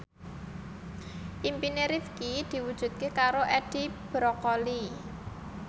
impine Rifqi diwujudke karo Edi Brokoli